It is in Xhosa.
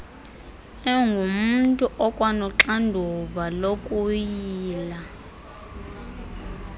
engumntu okwanoxanduva lokuyila